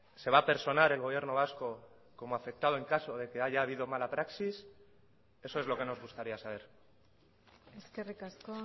se va a personar el gobierno vasco como afectado en caso de que haya habido mala praxis eso es lo que nos gustaría saber eskerrik asko